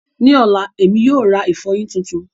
Ní ọ̀la, Èmi yóò ra ìfọyín tuntun